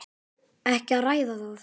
Ekki að ræða það!